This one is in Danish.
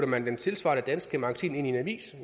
man det tilsvarende danske magasin ind i en avis